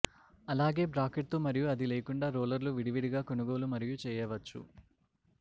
అలాగే బ్రాకెట్ తో మరియు అది లేకుండా రోలర్లు విడివిడిగా కొనుగోలు మరియు చేయవచ్చు